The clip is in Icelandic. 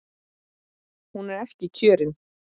Hún er ekki kjörin.